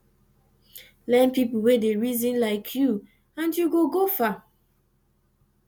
get pipo wey dey reason lyk yu nd yu go go far